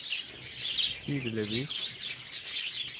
tydeligvis